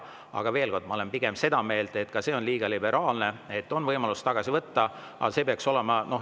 Aga ma olen pigem seda meelt, et ka see on liiga liberaalne, et seni on võimalus tagasi võtta.